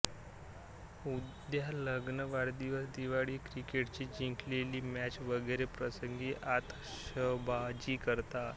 उदा लग्न वाढदिवस दिवाळी क्रिकेटची जिंकलेली मॅच वगैरे प्रसंगी आतषबाजी करतात